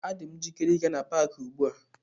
Adị m njikere ịga n'paaki ugbu a.